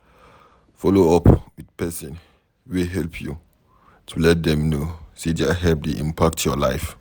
Follow up with person wey help you, to let them know sey their help dey impact your life